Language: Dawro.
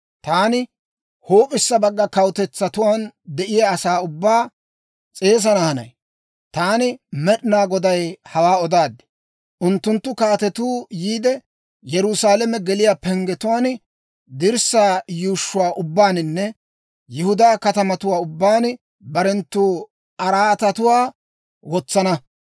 Taani huup'issa bagga kawutetsatuwaan de'iyaa asaa ubbaa s'eesana hanay. Taani Med'inaa Goday hawaa odaad. Unttunttu kaatetuu yiide, Yerusaalame geliyaa penggetuwaan, dirssaa yuushshuwaa ubbaaninne Yihudaa katamatuwaa ubbaan barenttu araatatuwaa wotsana.